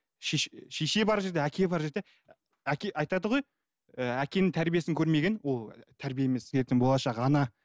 шеше бар жерде әке бар жерде әке айтады ғой ііі әкенің тәрбиесін көрмеген ол тәрбие емес ертең болашақ ана